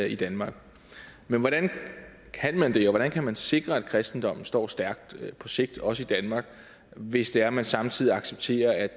i danmark men hvordan kan man det og hvordan kan man sikre at kristendommen står stærkt på sigt også i danmark hvis det er at man samtidig accepterer at